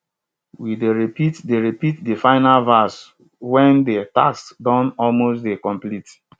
we dey repeat de repeat de final verse wen de task don almost dey complete